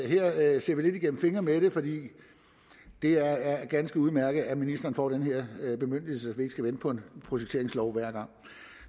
her ser vi lidt igennem fingre med det for det er ganske udmærket at ministeren får den her bemyndigelse så gang skal vente på en projekteringslov